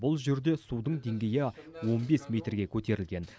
бұл жерде судың деңгейі он бес метрге көтерілген